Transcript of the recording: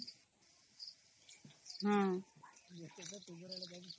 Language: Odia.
noise